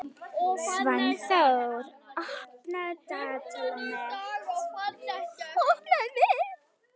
Svanþór, opnaðu dagatalið mitt.